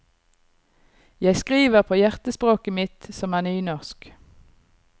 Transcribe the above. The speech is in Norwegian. Jeg skriver på hjertespråket mitt, som er nynorsk.